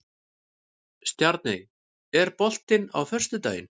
Stjarney, er bolti á föstudaginn?